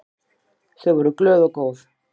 Þau voru glöð og góð.